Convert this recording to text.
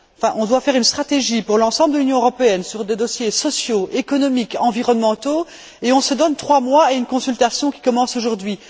On doit élaborer une stratégie pour l'ensemble de l'Union européenne sur des dossiers sociaux, économiques, environnementaux, et on se donne trois mois et une consultation qui commence aujourd'hui.